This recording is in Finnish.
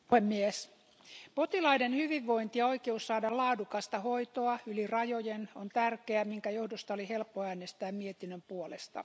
Arvoisa puhemies, potilaiden hyvinvointi ja oikeus saada laadukasta hoitoa yli rajojen on tärkeää, minkä johdosta oli helppo äänestää mietinnön puolesta.